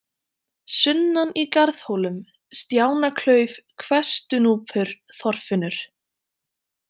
Sunnan í Garðhólum, Stjánaklauf, Hvestunúpur, Þorfinnur